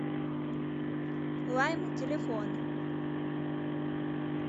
лайм телефон